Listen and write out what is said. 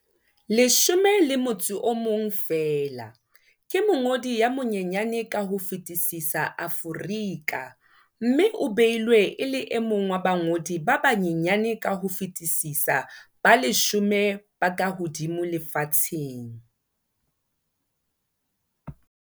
11 feela, ke mongodi ya monyenyane ka ho fetisisa Aforika mme o beilwe e le e mong wa bangodi ba banyenyane ka ho fetisisa ba leshome ba kahodimo lefatsheng.